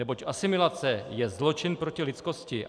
Neboť asimilace je zločin proti lidskosti.